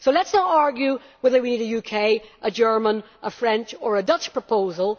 So let us not argue over whether we need a UK, a German, a French or a Dutch proposal.